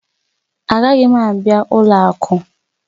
Agaghị m abịa ụlọ akụ